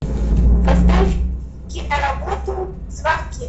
поставь киноработу звонки